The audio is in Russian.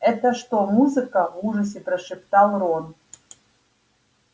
это что музыка в ужасе прошептал рон